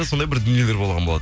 сондай бір дүниелер болған